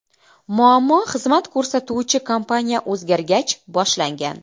Muammo xizmat ko‘rsatuvchi kompaniya o‘zgargach boshlangan.